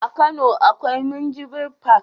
A kano akwai minjibir fak